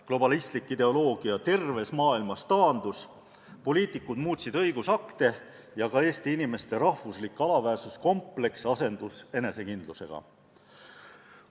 Globalistlik ideoloogia terves maailmas taandus, poliitikud muutsid õigusakte ja Eesti inimeste rahvuslik alaväärsuskompleks asendus enesekindlusega.